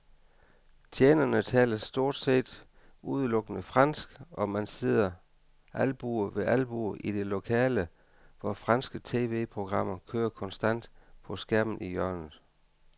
Tjenerne taler stort set udelukkende fransk, og man sidder albue ved albue i det lille lokale, hvor franske tv-programmer kører konstant på skærmen i hjørnet.